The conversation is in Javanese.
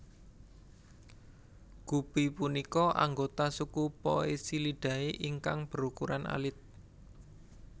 Gupi punika anggota suku Poecilidae ingkang berukuran alit